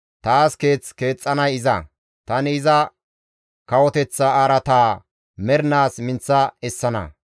Taas keeth keexxanay iza; tani iza kawoteththa araataa mernaas minththa essana.